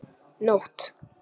Nótt